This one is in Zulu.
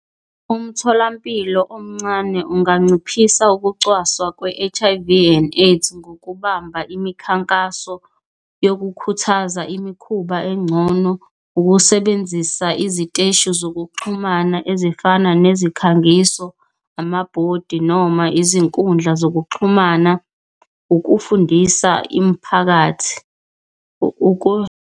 Umtholampilo omncane unganciphisa ukucwaswa kwe-H_I_V and AIDS ngokubamba imikhankaso yokukhuthaza imikhuba encono. Ukusebenzisa iziteshi zokuxhumana ezifana nezikhangiso, amabhodi noma izinkundla zokuxhumana, ukufundisa imiphakathi .